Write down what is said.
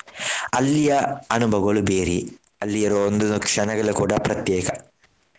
ಅಲ್ಲಿಯ ಅನುಭವಗಳು ಬೇರೆಯೇ ಅಲ್ಲಿ ಇರುವ ಒಂದೊಂದು ಕ್ಷಣಗಳು ಕೂಡ ಪ್ರತ್ಯೇಕ.